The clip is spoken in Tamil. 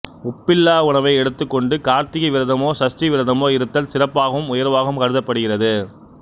உப்பில்லா உணவை எடுத்துக் கொண்டு கார்த்திகை விரதமோ சஷ்டி விரதமோ இருத்தல் சிறப்பாகவும் உயர்வாகவும் கருதப் படுகிறது